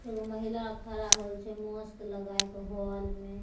एगो महिला खड़ा होल छे मास्क लगाय क हॉल में।